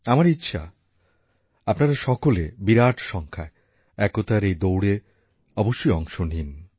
আমার ইচ্ছা আপনারা সকলে বিরাট সংখ্যায় একতার এই দৌড়ে অবশ্যই অংশ নিন